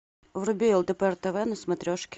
вруби лдпр тв на смотрешке